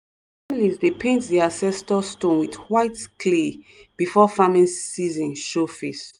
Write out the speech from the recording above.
families dey paint di ancestor stone with white clay before farming season show face.